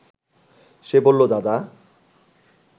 সে বলল, দাদা